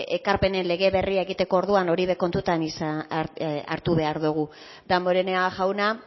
ekarpenen lege berria egiteko orduan hori ere kontutan hartu behar dugu damborenea jauna